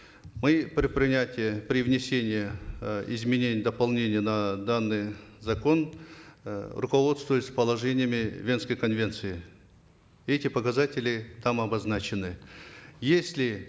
мы при принятии при внесении э изменений дополнений на данный закон э руководствовались положениями венской конвенции эти показатели там обозначены если